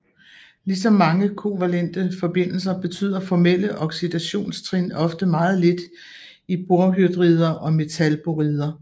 Ligesom mange kovalente forbindelser betyder formelle oxidationstrin ofte meget lidt i borhydrider og metalborider